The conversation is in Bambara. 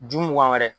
Ju mugan wɛrɛ